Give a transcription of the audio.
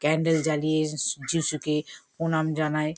Candle জ্বালিয়ে স যীশুকে প্রণাম জানায়।